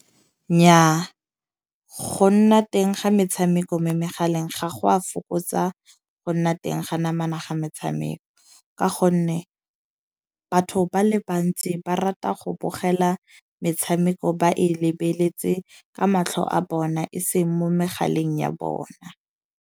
Nnyaa go nna teng ga metshameko mo megaleng ga go a fokotsa go nna teng ga namana ga metshameko. Ka gonne batho ba le bantsi ba rata go bogela metshameko ba e lebeletse ka matlho a bona, e seng mo megaleng ya bona.